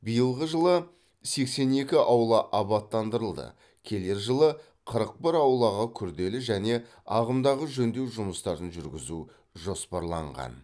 биылғы жылы сексен екі аула абаттандырылды келер жылы қырық бір аулаға күрделі және ағымдағы жөндеу жұмыстарын жүргізу жоспарланған